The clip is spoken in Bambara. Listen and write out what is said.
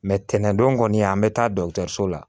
tɛnɛndon kɔni an bɛ taa so la